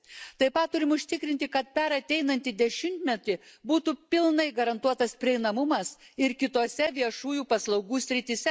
Taip pat turime užtikrinti, kad per ateinantį dešimtmetį būtų pilnai garantuotas prieinamumas ir kitose viešųjų paslaugų srityse.